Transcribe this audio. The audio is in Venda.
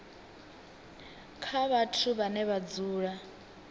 kha vhathu vhane vha dzula